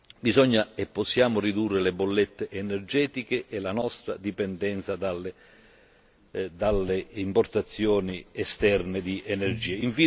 Dobbiamo e possiamo ridurre le bollette energetiche e la nostra dipendenza dalle importazioni esterne di energia.